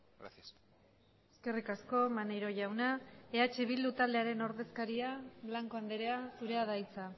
gracias eskerrik asko maneiro jauna eh bildu taldearen ordezkaria blanco andrea zurea da hitza